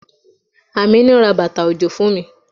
Amina ra bàtà òjò fún mi.